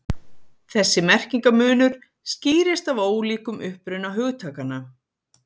þessi merkingarmunur skýrist af ólíkum uppruna hugtakanna